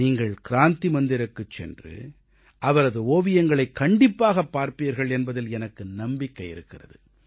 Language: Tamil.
நீங்கள் கிராந்தி மந்திருக்குச் சென்று அவரது ஓவியங்களைக் கண்டிப்பாகப் பார்ப்பீர்கள் என்பதில் எனக்கு நம்பிக்கை இருக்கிறது